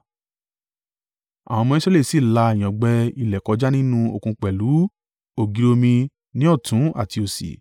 àwọn ọmọ Israẹli sì la ìyàngbẹ ilẹ̀ kọjá nínú òkun pẹ̀lú ògiri omi ní ọ̀tún àti òsì.